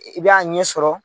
I b'a ɲɛ sɔrɔ,